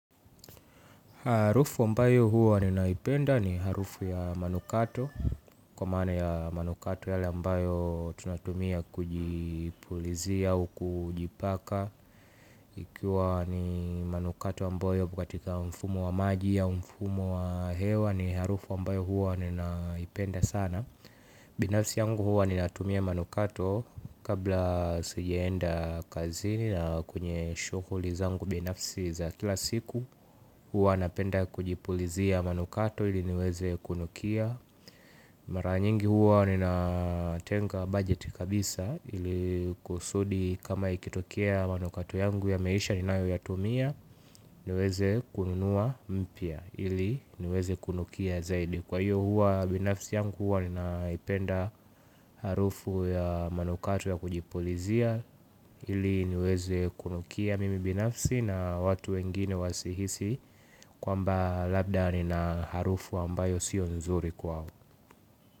Harufu ambayo huwa ninaipenda ni harufu ya manukato. Kwa maana ya manukato yale ambayo tunatumia kujipulizia au kujipaka. Ikiwa ni manukato ambayo yako katika mfumo wa maji ya mfumo wa hewa ni harufu ambayo huwa ninaipenda sana. Binafsi yangu huwa nina tumia manukato kabla sijaenda kazini na kwenye shughuli zangu binafsi za kila siku. Huwa napenda kujipulizia manukato ili niweze kunukia. Mara nyingi huwa nina tenga budget kabisa ili kusudi kama ikitokea manukato yangu yameisha ni nayo yatumia. Niweze kununua mpya ili niweze kunukia zaidi. Kwa hiyo huwa binafsi yangu huwa ninaipenda harufu ya manukato ya kujipulizia ili niweze kunukia mimi binafsi na watu wengine wasihisi kwamba labda ni na harufu ambayo sio nzuri kwao.